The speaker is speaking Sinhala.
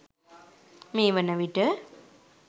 මේ වනවිට